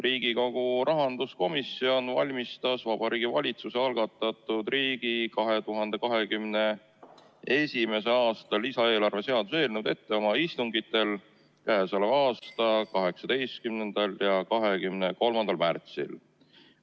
Riigikogu rahanduskomisjon valmistas Vabariigi Valitsuse algatatud riigi 2021. aasta lisaeelarve seaduse eelnõu ette oma 18. ja 23. märtsi istungil.